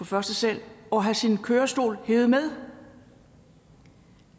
første sal og have sin kørestol hevet med